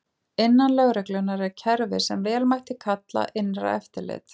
Innan lögreglunnar er kerfi sem vel mætti kalla innra eftirlit.